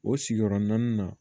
O sigiyɔrɔ naani na